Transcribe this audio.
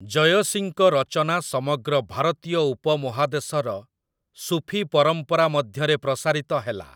ଜୟସୀଙ୍କ ରଚନା ସମଗ୍ର ଭାରତୀୟ ଉପମହାଦେଶର ସୁଫି ପରମ୍ପରାମଧ୍ୟରେ ପ୍ରସାରିତ ହେଲା ।